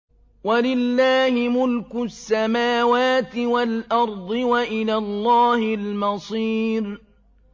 وَلِلَّهِ مُلْكُ السَّمَاوَاتِ وَالْأَرْضِ ۖ وَإِلَى اللَّهِ الْمَصِيرُ